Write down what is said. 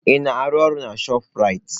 Ị na-arụ ọrụ na chopụ Raitị?